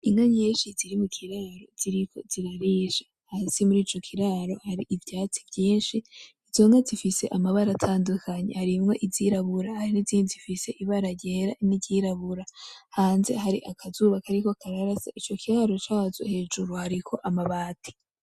Inka nyinshi ziri mu kiraro ziriko zirarisha, hasi muri ico kiraro hari ivyatsi vyinshi izo nka zifise amabara atandukanye harimwo izirabura hari n'izindi zifise ibara ryera n'iryirabura, hanze hari akazuba kariko kararasa ico kiraro cazo hejuru hariko amabati.